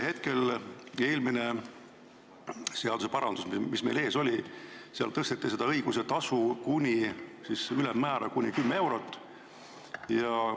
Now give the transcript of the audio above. Eelmise seadusparandusega, mis meil ees oli, tõsteti selle õiguse tasu ülemmäära kuni 10 eurot.